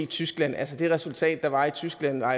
tyskland altså det resultat der var i tyskland var